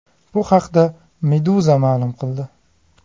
Bu haqda Meduza ma’lum qildi.